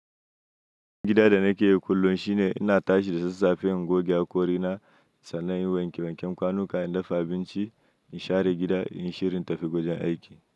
Gidan da na ke yi kullum shi ne ina tashi da sassafe in goge hakori na, sannan in wanke wanken kwanuka, in dafa abinci, in share gida, in yi shirin tafi gwajin aiki.